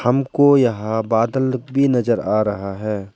हमको यहां बादल भी नजर आ रहा है।